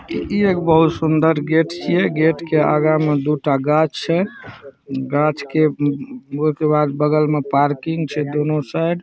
ई एगो बोहोत सुंदर गेट छे गेट के आगे मे दु टा गाछ छे गाछ के म अ के बाद बगल मे पार्किंग छे दोनों साइड |